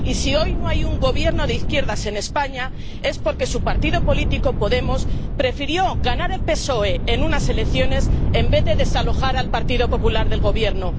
Y, si hoy no hay un gobierno de izquierdas en España, es porque su partido político, Podemos, prefirió ganar al PSOE en unas elecciones en vez de desalojar al Partido Popular del gobierno.